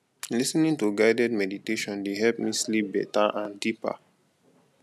lis ten ing to guided meditation dey help me sleep better and deeper